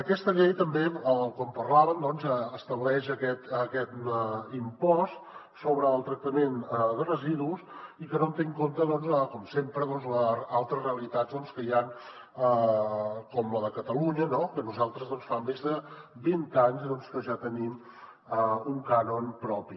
aquesta llei també com parlàvem estableix aquest impost sobre el tractament de residus i que no té en compte com sempre altres realitats que hi han com la de catalunya no que nosaltres fa més de vint anys que ja tenim un cànon propi